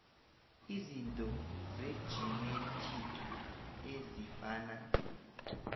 izinto zejinethiki ezifana